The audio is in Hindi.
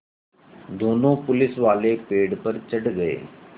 दोनों पुलिसवाले पेड़ पर चढ़ गए